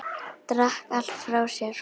Drakk allt frá sér.